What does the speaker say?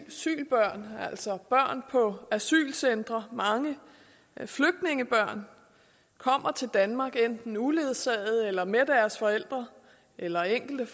asylbørn altså børn på asylcentre mange flygtningebørn kommer til danmark enten uledsagede eller med deres forældre eller en enkelt